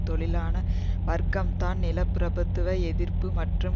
தொழிலாள வர்க்கம்தான் நிலப்பிரபுத்துவ எதிர்ப்பு மற்றும்